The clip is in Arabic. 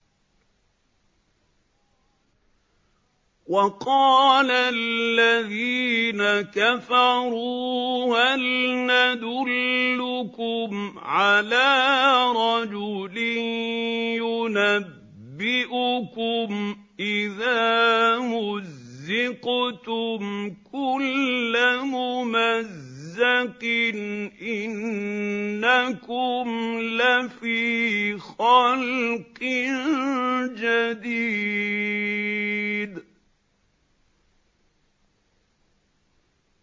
وَقَالَ الَّذِينَ كَفَرُوا هَلْ نَدُلُّكُمْ عَلَىٰ رَجُلٍ يُنَبِّئُكُمْ إِذَا مُزِّقْتُمْ كُلَّ مُمَزَّقٍ إِنَّكُمْ لَفِي خَلْقٍ جَدِيدٍ